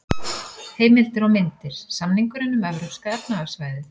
Heimildir og myndir: Samningurinn um Evrópska efnahagssvæðið.